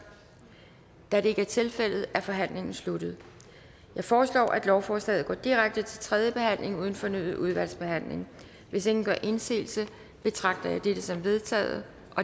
da det ikke er tilfældet er forhandlingen sluttet jeg foreslår at lovforslaget går direkte til tredje behandling uden fornyet udvalgsbehandling hvis ingen gør indsigelse betragter jeg dette som vedtaget